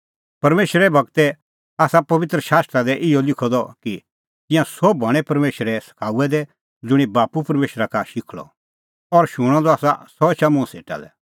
परमेशरे गूरै आसा पबित्र शास्त्रा दी इहअ लिखअ द कि तिंयां सोभ हणैं परमेशरे सखाऊऐ दै ज़ुंणी बाप्पू परमेशरा का शिखल़अ और शूणअ द आसा सह एछा मुंह सेटा लै